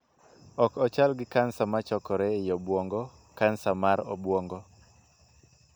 Ok ochal gi kansa ma chakore ei obuongo (kansa mar obuongo).